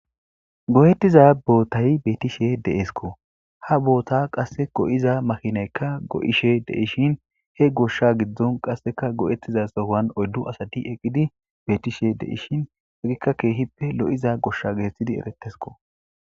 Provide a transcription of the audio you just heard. go'ettiza bootay beetishe deesko ha boota qasse go7iza makinaykka go7ishe de ishin he goshsha giddon qasseka go7ettiza sohan oyddu asati eqqidi beetishe de ishin egikka keehippe lo7iza goshsha getethidi eretesko